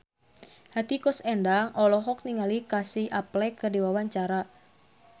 Hetty Koes Endang olohok ningali Casey Affleck keur diwawancara